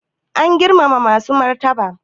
Ana girmama masu martaba